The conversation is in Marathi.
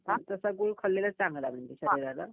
तसं गूळ खाल्लेलं चांगलं आहे म्हणजे.